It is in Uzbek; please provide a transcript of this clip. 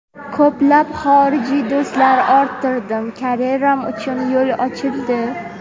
Ko‘plab xorijiy do‘stlar orttirdim, karyeram uchun yo‘l ochildi.